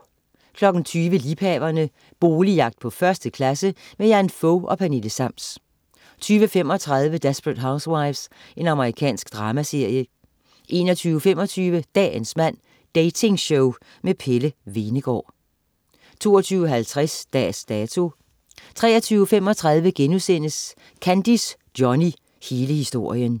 20.00 Liebhaverne. Boligjagt på 1. klasse. Jan Fog og Pernille Sams 20.35 Desperate Housewives. Amerikansk dramaserie 21.25 Dagens mand. Dating-show med Pelle Hvenegaard 22.50 Dags Dato 23.35 Kandis Johnny, hele historien*